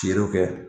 Feerew kɛ